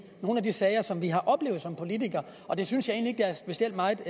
nogle af de sager som vi har oplevet som politikere og det synes at der er specielt meget